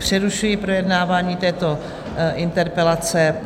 Přerušuji projednávání této interpelace.